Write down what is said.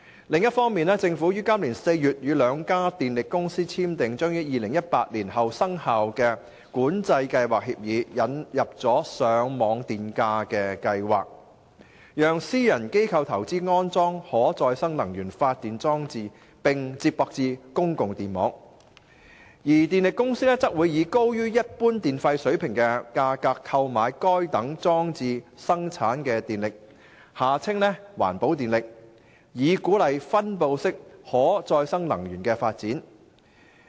另一方面，政府於今年4月與兩家電力公司簽訂將於2018年後生效的新《管制計劃協議》，引入了上網電價計劃，讓私人機構投資安裝可再生能源發電裝置並接駁至公共電網，而電力公司則會以高於一般電費水平的價格購買該等裝置生產的電力，以鼓勵分布式可再生能源的發展。